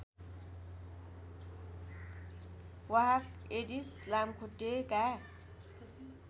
वाहक एडिस लामखुट्टेका